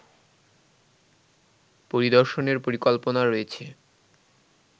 পরিদর্শনের পরিকল্পনা রয়েছে